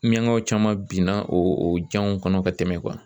Miɲankaw caman binna o janw kɔnɔ ka tɛmɛ